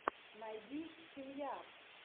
найди семья